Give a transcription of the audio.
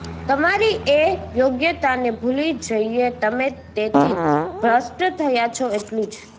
તમારી એ યોગ્યતાને ભૂલી જઈને તમે તેથી ભ્રષ્ટ થયા છો એટલું જ